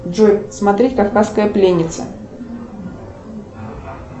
джой смотреть кавказская пленница